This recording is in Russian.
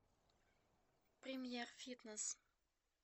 премьер фитнес